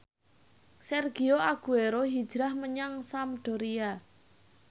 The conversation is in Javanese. Sergio Aguero hijrah menyang Sampdoria